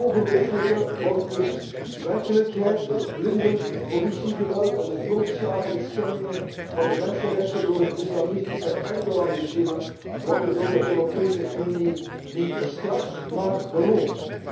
Het ongelofelijke wordt dus werkelijkheid het blinde politiegeweld en de grootschalige schendingen van de mensenrechten door het islamistische Erdogan regime worden door de Europese Unie niet bestraft, maar beloond.